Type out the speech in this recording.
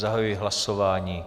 Zahajuji hlasování.